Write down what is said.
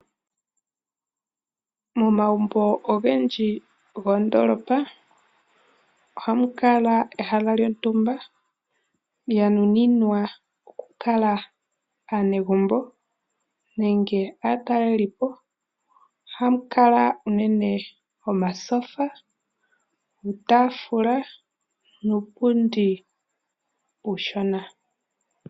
Momagumbo ogendji go moondoolopa ohamu kala ehala lyontumba lya nuninwa oku kala aanegumbo nenge aatalelipo . Ohamu kala unene omatyofa, uutaafula, nuupundi uushona.